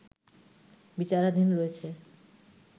বিচারাধীন রয়েছে